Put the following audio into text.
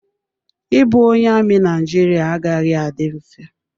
Ịbụ onye amị na Naijiria agaghị adị mfe.